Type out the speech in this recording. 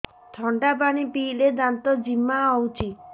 ଥଣ୍ଡା ପାଣି ପିଇଲେ ଦାନ୍ତ ଜିମା ହଉଚି